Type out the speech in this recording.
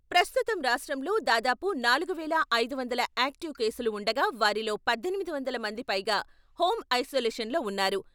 ప్రస్తుతం రాష్ట్రంలో దాదాపు నాలుగు వేల ఐదు వందల ఆక్టివ్ కేసులు ఉండగా వారిలో పద్దెనిమిది వందల మంది పైగా హోమ్ ఐసోలేషన్ లో ఉన్నారు.